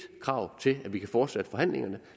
krav til at vi kan fortsætte forhandlingerne